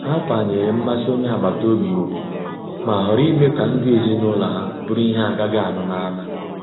Ha kwanyere mmasị onye agbata obi ugwu, ma họọrọ ime ka ndụ ezinụlọ ha bụrụ ihe agaghi anu n'ama.